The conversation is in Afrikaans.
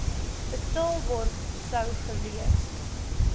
betaalbaar sou gewees